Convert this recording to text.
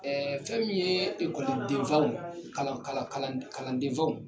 fɛn min yee ekɔliden faw kalan kala kalan d kalanden faw